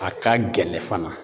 A ka gɛlɛn fana